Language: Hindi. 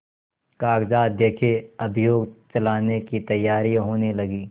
कागजात देखें अभियोग चलाने की तैयारियॉँ होने लगीं